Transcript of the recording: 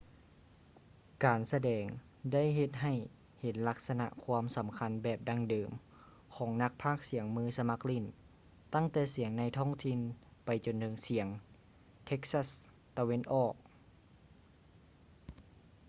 ການສະແດງ ໄດ້ເຮັດໃຫ້ເຫັນລັກສະນະຄວາມສໍາຄັນແບບດັ່ງເດີມ ຂອງນັກພາກສຽງມືສະໝັກຫຼີ້ນ ຕັ້ງແຕ່ສຽງໃນທ້ອງຖິ່ນ ໄປຈົນເຖິງສຽງເທັກຊັສ໌ ຕາເວັນອອກ east texas